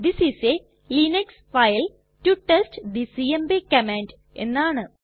this is a Linux file to test the CMP command എന്നാണ്